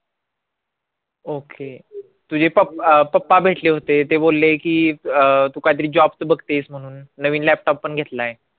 okay प अं पप्पा भेटले होते ते बोलले की अं तू कायतरी job चं बघतेस म्हणून नवीन laptop पण घेतलाय